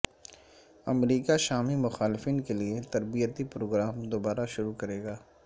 امریکہ شامی مخالفین کےلیے تربیتی پروگرام دوبارہ شروع کرےگا